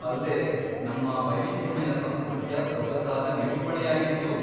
ಅಲ್ದೇ, ನಮ್ಮ ವೈವಿಧ್ಯಮಯ ಸಂಸ್ಕೃತಿಯ ಸೊಗಸಾದ ನಿರೂಪಣೆಯಾಗಿತ್ತು.